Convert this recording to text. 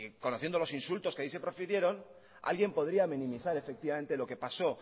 conociendo los insultos que ahí se profirieron alguien podría minimizar efectivamente lo que paso